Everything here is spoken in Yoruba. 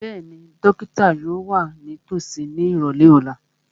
Bẹ́ẹ̀ni, dókítà yóò wà nítòsí ní ìrọ̀lẹ́ ọ̀la